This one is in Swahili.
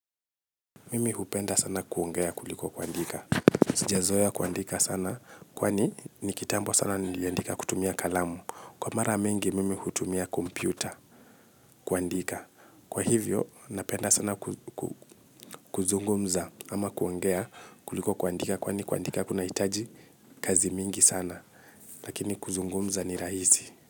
Mimi hupenda sana kuongea kuliko kuandika. Sijazoea kuandika sana, kwani nikitambo sana niliandika kutumia kalamu. Kwa mara mingi, mimi hutumia kompyuta kuandika. Kwa hivyo, napenda sana kuzungumza ama kuongea kuliko kuandika, kwani kuandika kunahitaji kazi mingi sana. Lakini kuzungumza ni rahisi.